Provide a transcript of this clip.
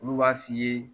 Olu b'a f'i ye